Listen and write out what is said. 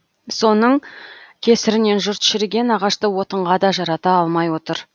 соның кесірінен жұрт шіріген ағашты отынға да жарата алмай отыр